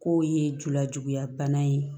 K'o ye julajuguya bana ye